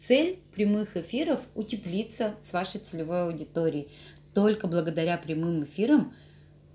цель прямых эфиров утеплиться с вашей целевой аудитории только благодаря прямым эфирам